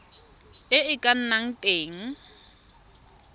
e e ka nnang teng